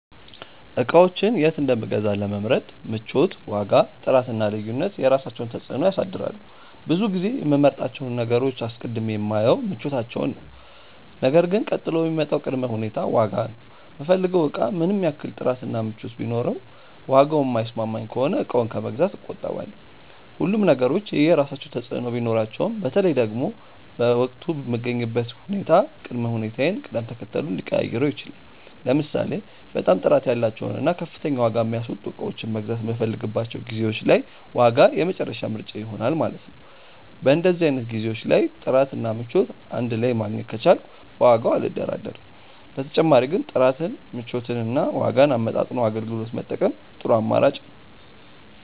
እቃዎችን የት እንደምገዛ ለመምረጥ ምቾት፣ ዋጋ፣ ጥራት እና ልዩነት የራሳቸውን ተፅዕኖ ያሳድራሉ። ብዙ ጊዜ የምመርጣቸውን ነገሮች አስቀድሜ የማየው ምቾታቸውን ነው ነገር ግን ቀጥሎ የሚመጣው ቅድመ ሁኔታ ዋጋ ነው። የምፈልገው እቃ ምንም ያህል ጥራት እና ምቾት ቢኖረውም ዋጋው የማይስማማኝ ከሆነ እቃውን ከመግዛት እቆጠባለሁ። ሁሉም ነገሮች የየራሳቸው ተፅእኖ ቢኖራቸውም በተለይ ደግሞ በወቅቱ የምገኝበት ሁኔታ ቅድመ ሁኔታዬን ቅደም ተከተሉን ሊቀያይረው ይችላል። ለምሳሌ በጣም ጥራት ያላቸውን እና ከፍተኛ ዋጋ የሚያስወጡ እቃዎችን መግዛት የምፈልግባቸው ጊዜዎች ላይ ዋጋ የመጨረሻ ምርጫዬ ይሆናል ማለት ነው። በእንደዚህ አይነት ጊዜዎች ላይ ጥራት እና ምቾት እንድ ላይ ማግኘት ከቻልኩ በዋጋው አልደራደርም። በተጨማሪ ግን ጥራትን፣ ምቾትን እና ዋጋን አመጣጥኖ አገልግሎት መጠቀም ጥሩ አማራጭ ነው።